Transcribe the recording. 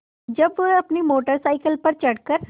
जब वह अपनी मोटर साइकिल पर चढ़ कर